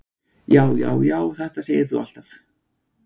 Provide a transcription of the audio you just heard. Já, já, já, þetta segir þú alltaf!